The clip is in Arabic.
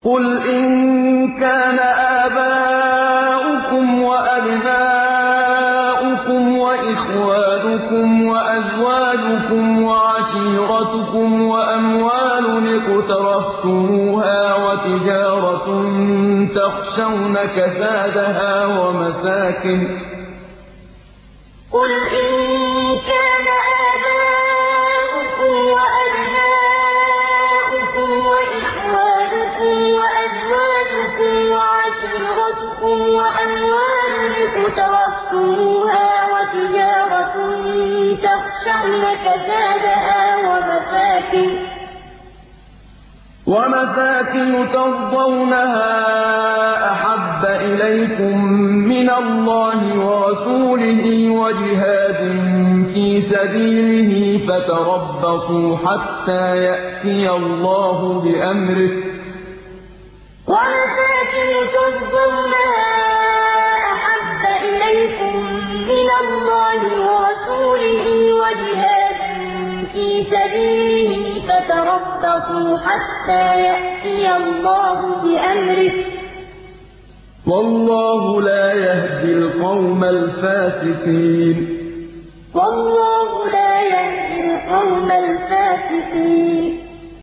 قُلْ إِن كَانَ آبَاؤُكُمْ وَأَبْنَاؤُكُمْ وَإِخْوَانُكُمْ وَأَزْوَاجُكُمْ وَعَشِيرَتُكُمْ وَأَمْوَالٌ اقْتَرَفْتُمُوهَا وَتِجَارَةٌ تَخْشَوْنَ كَسَادَهَا وَمَسَاكِنُ تَرْضَوْنَهَا أَحَبَّ إِلَيْكُم مِّنَ اللَّهِ وَرَسُولِهِ وَجِهَادٍ فِي سَبِيلِهِ فَتَرَبَّصُوا حَتَّىٰ يَأْتِيَ اللَّهُ بِأَمْرِهِ ۗ وَاللَّهُ لَا يَهْدِي الْقَوْمَ الْفَاسِقِينَ قُلْ إِن كَانَ آبَاؤُكُمْ وَأَبْنَاؤُكُمْ وَإِخْوَانُكُمْ وَأَزْوَاجُكُمْ وَعَشِيرَتُكُمْ وَأَمْوَالٌ اقْتَرَفْتُمُوهَا وَتِجَارَةٌ تَخْشَوْنَ كَسَادَهَا وَمَسَاكِنُ تَرْضَوْنَهَا أَحَبَّ إِلَيْكُم مِّنَ اللَّهِ وَرَسُولِهِ وَجِهَادٍ فِي سَبِيلِهِ فَتَرَبَّصُوا حَتَّىٰ يَأْتِيَ اللَّهُ بِأَمْرِهِ ۗ وَاللَّهُ لَا يَهْدِي الْقَوْمَ الْفَاسِقِينَ